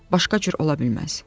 Başqa cür ola bilməz.